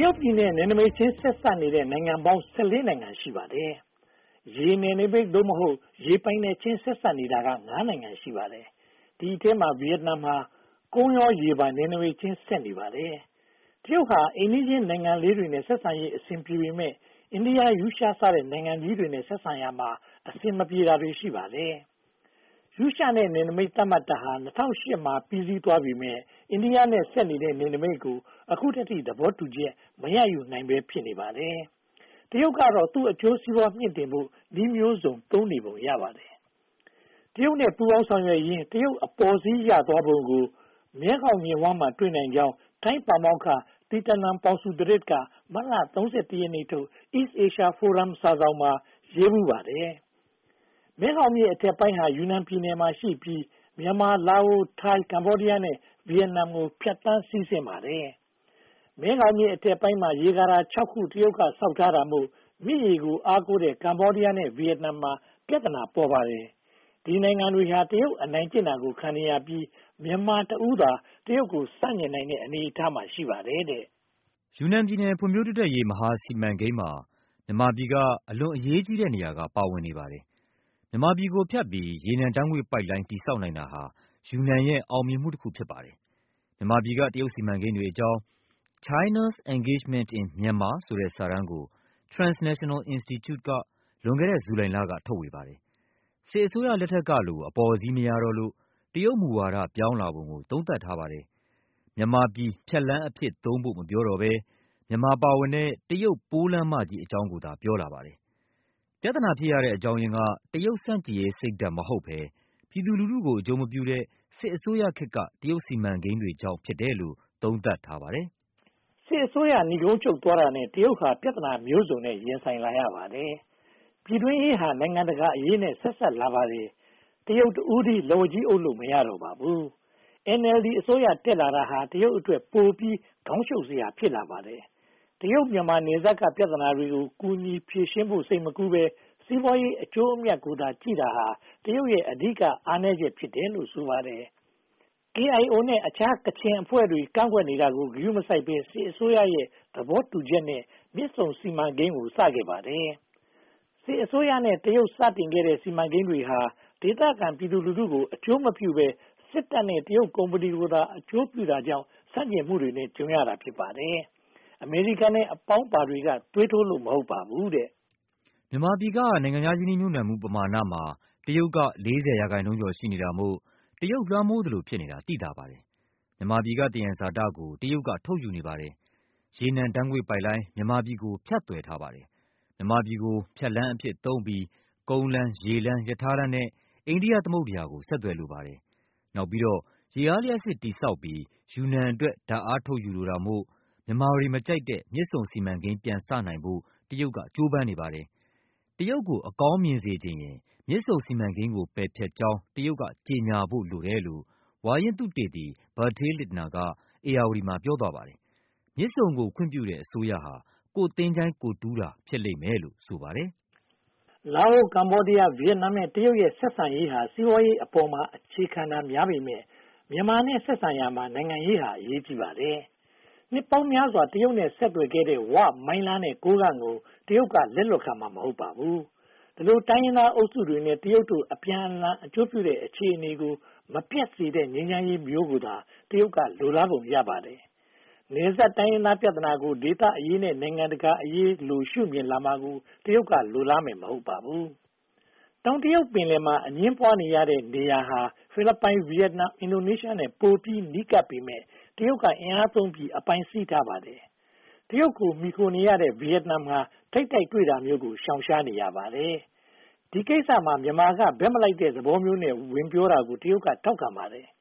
တရုတ်ပြည်နဲ့ နယ်နိမိတ်ချင်း ဆက်နေတဲ့ နိုင်ငံပေါင်း (၁၄) နိုင်ငံ ရှိပါတယ်။ ရေနယ်နမိတ် (သို့မဟုတ်) ရေပိုင်နက်ချင်း ဆက်နေတာဟာ (၅) နိုင်ငံ ရှိပါတယ်။ ဒီအထဲမှာ ဗိယက်နမ်ဟာ ကုန်ရောရေပါ နယ်နိမိတ်ချင်း ဆက်နေပါတယ်။ တရုတ်ဟာ အိမ်နီးချင်းနိုင်ငံလေးတွေနဲ့ ဆက်ဆံရေး အဆင်ပြေပေမယ့် အိန္ဒိယ၊ ရုရှားစတဲ့ နိုင်ငံကြီးတွေနဲ့ ဆက်ဆံရာမှာ အဆင်မပြေတာတွေ ရှိပါတယ်။ ရုရှားနဲ့ နယ်နိမိတ် သတ်မှတ်တာဟာ ၂၀၀၈ မှာ ပြီးစီးသွားပေမယ့် အိန္ဒိယနဲ့ ဆက်နေတဲ့ နယ်နိမိတ်ကို အခုထက်ထိ သဘောတူချက် မရယူနိုင်ဘဲ ဖြစ်နေပါတယ်။ တရုတ်ကတော့ သူ့အကျိုးစီးပွား မြှင့်တင်ဖို့ နည်းမျိုးစုံ သုံးနေပုံရပါတယ်။ တရုတ်နဲ့ ပူးပေါင်းဆောင်ရွက်ရင်း တရုတ်အပေါ်စီးရသွားပုံကို မဲခေါင်မြစ်ဝှမ်းမှာ တွေ့နိုင်ကြောင်း ထိုင်းပါမောက္ခ Thitinan Pongsudhirak က မတ်လ (၃၁) ရက်နေ့ထုတ် East Asia Forum စာစောင်မှာ ရေးဖူးပါတယ်။ မဲခေါင်မြစ် အထက်ပိုင်းဟာ ယူနန်ပြည်နယ်မှာရှိပြီး မြန်မာ၊ လာအို၊ ထိုင်း၊ ကမ္ဘောဒီးယားနဲ့ ဗိယက်နမ်ကို ဖြတ်သန်း စီးဆင်းပါတယ်။ မဲခေါင်မြစ် အထက်ပိုင်းမှာ ရေကာတာ (၆) ခု တရုတ်က ဆောက်တာမို့ မြစ်ရေကို အားကိုးတဲ့ ကမ္ဘောဒီးယားနဲ့ ဗိယက်နမ်မှာ ပြဿနာ ပေါ်ပါတယ်။ ဒီနိုင်ငံတွေ တရုတ် အနိုင်ကျင့်တာ ခံနေရပြီး မြန်မာတဦးသာ တရုတ်ကို ဆန့်ကျင်နေတဲ့ အနေအထားမှာ ရှိနေပါတယ်။ ယူနန်ပြည်နယ် ဖွံ့ဖြိုးတိုးတက်ရေး မဟာစီမံကိန်းမှာ မြန်မာပြည်က အလွန်အရေးကြီးတဲ့ နေရာက ပါဝင်နေပါတယ်။ မြန်မာပြည်ကိုဖြတ်ပြီး ရေနံဓါတ်ငွေ့ပိုက်လိုင်း တည်ဆောက်နိုင်တာဟာ ယူနန်ရဲ့ အောင်မြင်မှုတခု ဖြစ်ပါတယ်။ မြန်မာပြည်က တရုတ်စီမံကိန်းတွေအကြောင်း China’s Engagement in Myanmar ဆိုတဲ့ စာတမ်းကို Transitional Institute က လွန်ခဲ့တဲ့ ဇူလိုင်လက ထုတ်ဝေပါတယ်။ စစ်အစိုးရလက်ထက်ကလို အပေါ်စီး မရတော့လို့ တရုတ်မူဝါဒ ပြောင်းလဲလာပုံကို သုံးသပ်ထားပါတယ်။ မြန်မာပြည် ဖြတ်လမ်းအဖြစ်သုံးဖို့ မပြောတော့ဘဲ မြန်မာပါဝင်တဲ့ တရုတ် ပိုးလမ်းမကြီးအကြောင်းကိုသာ ပြောလာပါတယ်။ ပြဿနာဖြစ်ရတဲ့ အကြောင်းရင်းက တရုတ်ဆန့်ကျင်ရေး စိတ်ဓါတ်မဟုတ်ဘဲ ပြည်သူလူထုကို အကျိုးမပြုတဲ့ စစ်အစိုးရခေတ်က တရုတ် စီမံကိန်းတွေကြောင့် ဖြစ်တယ်လို့ သုံးသပ်ထားပါတယ်။ စစ်အစိုးရ နိဂုံးချုပ်သွားတာနဲ့ တရုတ်ဟာ ပြဿနာမျိုးစုံနဲ့ ရင်ဆိုင်လာရပါတယ်။ ပြည်တွင်းရေးဟာ နိုင်ငံတကာအရေးနဲ့ ဆက်စပ်လာပါတယ်။ တရုတ်တဦးတည်း လက်ဝါးကြီးအုပ်လို့ မရတော့ပါဘူး။ NLD အစိုးရ တက်လာတာဟာ တရုတ်အတွက် ပိုပြီး ခေါင်းရှုပ်စရာ ဖြစ်လာပါတယ်။ တရုတ်-မြန်မာ နယ်စပ်က ပြဿနာတွေကို ကူညီဖြေရှင်းဖို့ စိတ်မကူးဘဲ စီးပွားရေး အကျိုးအမြတ်ကိုသာ ကြည့်တာဟာ တရုတ်ရဲ့ အဓိက အားနည်းချက် ဖြစ်တယ်လို့ ဆိုပါတယ်။ KIO နဲ့ အခြား ကချင်အဖွဲ့တွေ ကန့်ကွက်တာကို ဂရုမစိုက်ဘဲ စစ်အစိုးရ သဘောတူညီချက်နဲ့ မြစ်ဆုံစီမံကိန်းကို စခဲ့ပါတယ်။ စစ်အစိုးရနဲ့ တရုတ် စတင်ခဲ့တဲ့ စီမံကိန်းတွေဟာ ဒေသခံပြည်သူလူထုကို အကျိုးမပြုဘဲ စစ်တပ်နဲ့ တရုတ်ကုမ္ပဏီကိုသာ အကျိုးပြုတာကြောင့် ဆန့်ကျင်မှုနဲ့ကြုံတာ ဖြစ်ပါတယ်။ အမေရိကန်နဲ့ အပေါင်းပါတွေက သွေးထိုးလို့ မဟုတ်ပါဘူး။ မြန်မာပြည်က နိုင်ငံခြားရင်းနှီးမှုပမာဏမှာ တရုတ်က (၄၀) ရာခိုင်နှုန်းကျော် ရှိနေတာမို့ တရုတ်လွှမ်းမိုးသလို ဖြစ်နေတာ သိသာပါတယ်။ မြန်မာပြည်က သယံဇာတကို တရုတ်က ထုတ်ယူနေပါတယ်။ ရေနံဓါတ်ငွေ့ပိုက်လိုင်း မြန်မာပြည်ကို ဖြတ်သွယ်ထားပါတယ်။ မြန်မာပြည်ကို ဖြတ်လမ်းအဖြစ်သုံးပြီး ကုန်လမ်း၊ ရေလမ်း၊ ရထားလမ်းနဲ့ အိန္ဒိယသမုဒ္ဒရာကို ဆက်သွယ်လိုပါတယ်။ နောက်ပြီးတော့ ရေအားလျှပ်စစ် တည်ဆောက်ပြီး ယူနန်အတွက် ဓါတ်အားထုတ်ယူလိုတာမို့ မြန်မာတွေ မကြိုက်တဲ့ မြစ်ဆုံစီမံကိန်းကို ပယ်ဖျက်ကြောင်း တရုတ် ကြေညာဖို့ လိုတယ်လို့ ဝါရင့်သုတေသီ Bretil Lintner က ဧရာဝတီမှာ ပြောသွားပါတယ်။ မြစ်ဆုံကို ခွင့်ပြုတဲ့ အစိုးရဟာ ကိုယ်သင်္ချိုင်းကိုယ်တူးတာ ဖြစ်လိမ့်မယ်လို့ ဆိုပါတယ်။ လာအို၊ ကမ္ဘောဒီးယား၊ ဗိယက်နမ် နဲ့ တရုတ်ရဲ့ ဆက်ဆံရေးဟာ စီးပွားရေးအပေါ်မှာ အခြေခံတာများပေမယ့် မြန်မာနဲ့ ဆက်ဆံရာမှာ နိုင်ငံရေးဟာလည်း အရေးကြီးပါတယ်။ နှစ်ပေါင်းများစွာ တရုတ်နဲ့ ဆက်နွှယ်ခဲ့တဲ့ ဝ၊ မိုင်းလား နဲ့ ကိုးကန့်ကို တရုတ်က လက်လွှတ်ခံမှာ မဟုတ်ပါဘူး။ ဒီလို တိုင်းရင်းသားအုပ်စုတွေနဲ့ တရုတ်တို့ အပြန်အလှန် အကျိုးပြုတဲ့ အခြေအနေကို မပျက်ပြယ်စေတဲ့ ငြိမ်းချမ်းရေးမျိုးကိုသာ တရုတ်က လိုလားပုံပါတယ်။ နယ်စပ်တိုင်းရင်းသားပြဿနာကို ဒေသအရေးနဲ့ နိုင်ငံတကာအရေး သဘောမျိုးနဲ့ ရှုမြင်လာမှာကို တရုတ်က လိုလားမယ် မဟုတ်ပါဘူး။ တောင်တရုတ် ပင်လယ်မှာ အငြင်းပွားရတဲ့ နေရာဟာ ဖိလစ်ပိုင်၊ ဗိယက်နမ်၊ အင်ဒိုနီးရှားနဲ့ ပိုပြီးနီးကပ်ပေမယ့် တရုတ်က အင်အားသုံးပြီး အပိုင်းစီးထားပါတယ်။ တရုတ်ကို မှီခိုနေရတဲ့ ဗိယက်နမ်ဟာ ထိပ်တိုက်တွေ့တာမျိုးကို ရှောင်ရှားနေရပါတယ်။ ဒီကိစ္စမှာ မြန်မာက ဘက်မလိုက်တဲ့သဘောနဲ့ ပြောဆိုတာကို တရုတ်က ထောက်ခံပါတယ်။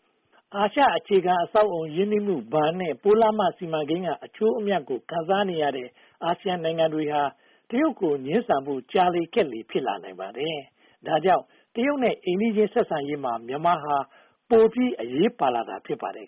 အာရှ အခြေခံအဆောက်အအုံ ရင်းနှီးမှုဘဏ်နဲ့ ပိုးလမ်းမ စီမံကိန်းက အကျိုးအမြတ်ရတဲ့ အာဆီယံနိုင်ငံတွေဟာ တရုတ်ကို ငြင်းဆန်ဖို့ ကြာလေခက်လေ ဖြစ်လာနိုင်ပါတယ်။ ဒါကြောင့် တရုတ်နဲ့ အိမ်နီးချင်းဆက်ဆံရေးမှာ မြန်မာဟာ ပိုပြီးအရေးပါလာတာ ဖြစ်ပါတယ်